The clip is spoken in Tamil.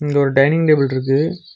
இங்க ஒரு டைனிங் டேபிள்ருக்கு .